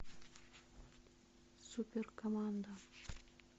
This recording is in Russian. супер команда